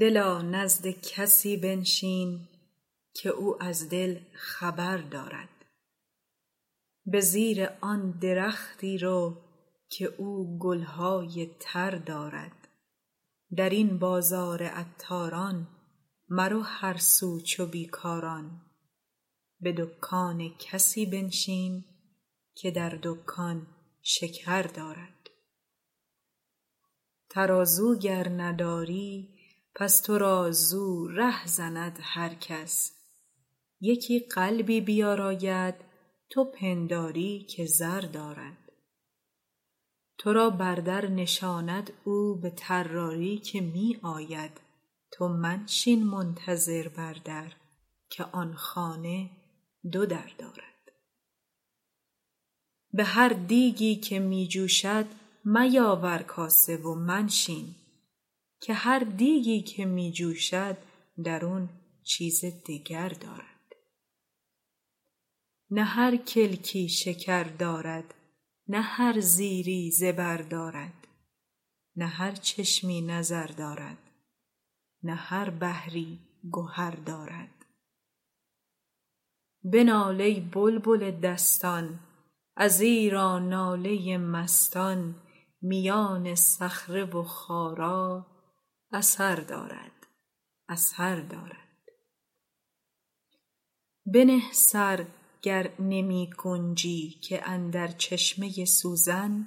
دلا نزد کسی بنشین که او از دل خبر دارد به زیر آن درختی رو که او گل های تر دارد در این بازار عطاران مرو هر سو چو بی کاران به دکان کسی بنشین که در دکان شکر دارد ترازو گر نداری پس تو را زو ره زند هر کس یکی قلبی بیاراید تو پنداری که زر دارد تو را بر در نشاند او به طراری که می آید تو منشین منتظر بر در که آن خانه دو در دارد به هر دیگی که می جوشد میاور کاسه و منشین که هر دیگی که می جوشد درون چیزی دگر دارد نه هر کلکی شکر دارد نه هر زیری زبر دارد نه هر چشمی نظر دارد نه هر بحری گهر دارد بنال ای بلبل دستان ازیرا ناله مستان میان صخره و خارا اثر دارد اثر دارد بنه سر گر نمی گنجی که اندر چشمه سوزن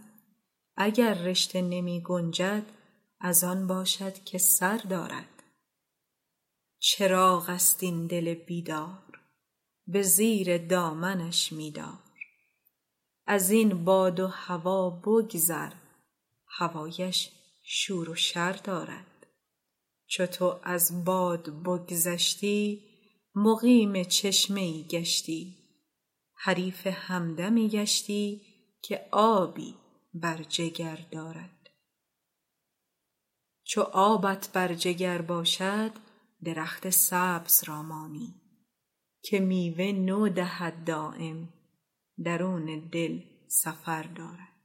اگر رشته نمی گنجد از آن باشد که سر دارد چراغ است این دل بیدار به زیر دامنش می دار از این باد و هوا بگذر هوایش شور و شر دارد چو تو از باد بگذشتی مقیم چشمه ای گشتی حریف همدمی گشتی که آبی بر جگر دارد چو آبت بر جگر باشد درخت سبز را مانی که میوه نو دهد دایم درون دل سفر دارد